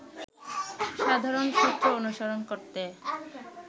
সাধারণ সূত্র অনুসরণ করতে